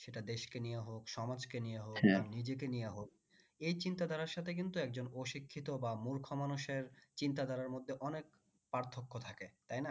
সেটা দেশ কে নিয়ে হোক সমাজকে নিয়ে হোক বা নিজেকে নিয়ে হোক এই চিন্তা ধারার সাথে কিন্তু একজন অশিক্ষিত বা মূর্খ মানুষের চিন্তা ধারার মধ্যে অনেক পার্থক্য থাকে তাই না